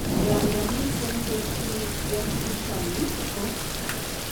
Nganda miten terchenet en kiitani, ko